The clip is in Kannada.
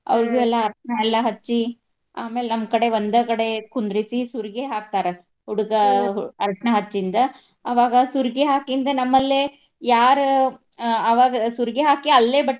ಅವ್ರಿಗು ಎಲ್ಲಾ ಅರ್ಶಿನಾ ಎಲ್ಲಾ ಹಚ್ಚಿ ಆಮೇಲೆ ನಮ್ಮ್ ಕಡೆ ಒಂದ ಕಡೆ ಕುಂದರ್ಸಿ ಸುರಗಿ ಹಾಕ್ತಾರ. ಹುಡಗಾ ಅರ್ಶಿನಾ ಹಚ್ಚಿಂದ ಅವಾಗ ಸುರ್ಗಿ ಹಾಕಿಂದ ನಮ್ಮ್ ಲ್ಲೇ ಯಾರ ಆಹ್ ಅವಾಗ ಸುರ್ಗಿ ಹಾಕಿ ಅಲ್ಲೆ.